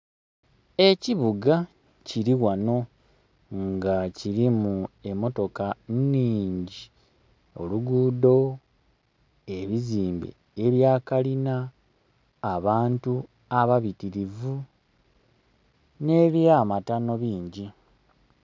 Ekibuga kili ghano nga kilimu emotoka nnhingi, olugudho, ebizimbe ebya kalina, abantu ababitirivu ne bya matano bingi.